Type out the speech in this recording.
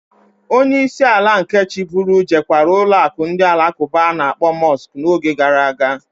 Onye isi ala nke chiburu jekwara ụlọụka ndị Alakụba a na-akpọ Mọsk n'oge gara aga.